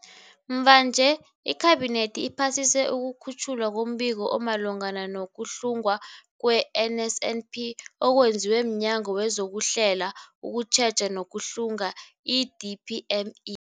Mvanje, iKhabinethi iphasise ukukhutjhwa kombiko omalungana no-kuhlungwa kwe-NSNP okwenziwe mNyango wezokuHlela, ukuTjheja nokuHlunga, i-DPME.